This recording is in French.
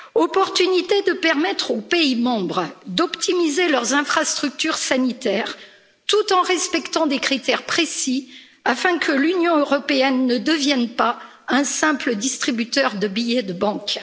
Opportunité de permettre aux pays membres d'optimiser leurs infrastructures sanitaires, tout en respectant des critères précis afin que l'Union européenne ne devienne pas un simple distributeur de billets de banque.